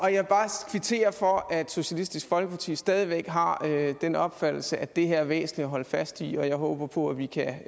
kvittere for at socialistisk folkeparti stadig væk har den opfattelse at det her er væsentligt at holde fast i og jeg håber på at vi kan